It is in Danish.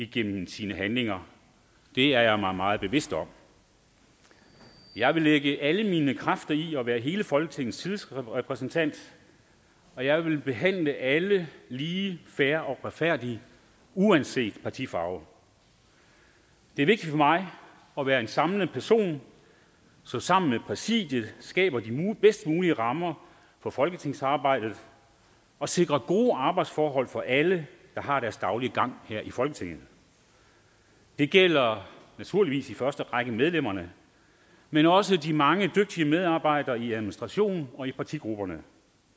gennem sine handlinger det er jeg mig meget bevidst om jeg vil lægge alle mine kræfter i at være hele folketingets tillidsrepræsentant og jeg vil behandle alle lige fair og retfærdigt uanset partifarve det er vigtigt for mig at være en samlende person der sammen med præsidiet skaber de bedst mulige rammer om folketingsarbejdet og sikrer gode arbejdsforhold for alle der har deres daglige gang her i folketinget det gælder naturligvis i første række medlemmerne men også de mange dygtige medarbejdere i administrationen og i partigrupperne